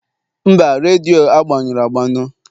mba, redio agbanyụrụ agbanụ